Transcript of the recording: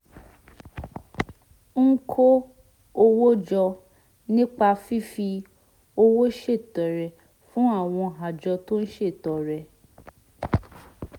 ń kó owó jọ nípa fífi owó ṣètọrẹ fún àwọn àjọ tó ń ṣètọrẹ